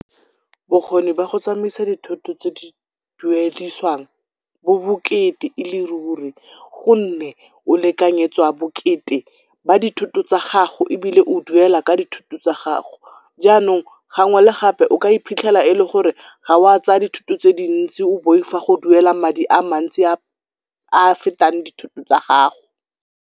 Bokgoni ba go tsamaisa dithoto tse di duediswang bo bokete e le ruri gomme o lekanyetswa bokete ba dithoto tsa gago ebile o duela ka dithoto tsa gago. Jaanong gangwe le gape o ka iphitlhela e le gore ga o a tsaya dithoto tse dintsi o boifa go duela madi a mantsi a a fetang dithoto tsa gago.